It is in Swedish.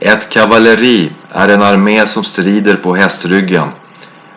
ett kavalleri är en armé som strider på hästryggen